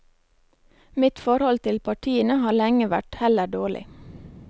Mitt forhold til partiene har lenge vært heller dårlig.